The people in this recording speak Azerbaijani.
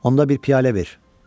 Onda bir piyalə ver.